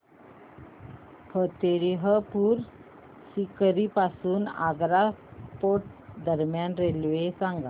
फतेहपुर सीकरी पासून आग्रा फोर्ट दरम्यान रेल्वे सांगा